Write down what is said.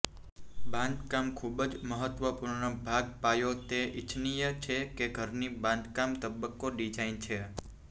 બાંધકામ ખૂબ જ મહત્વપૂર્ણ ભાગ પાયો તે ઇચ્છનીય છે કે ઘરની બાંધકામ તબક્કો ડિઝાઇન છે